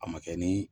A ma kɛ ni